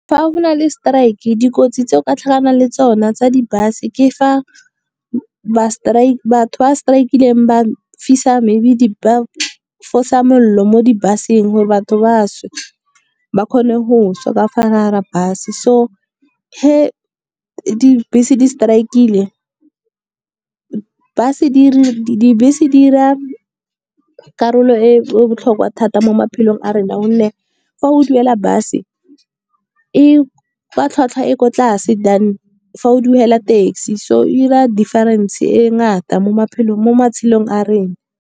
Fa go na le strike dikotsi tse o ka tlhakanang le tsona tsa di-bus, ke fa batho ba strike-ileng ba fisa maybe ba fosa molelo mo di-bus-eng gore batho ba she. Ba kgone go sha ka fa gare ga bus, so ga dibese di strike-ile dibese di dira karolo e botlhokwa thata mo maphelong a rona. Gonne fa o duela bus e kwa tlhwatlhwa e ko tlase than fa o duela taxi, so e dira difference e ngata mo matshelong a rena.